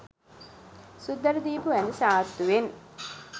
සුද්දට දීපු ඇඳ සාත්තුවෙන්.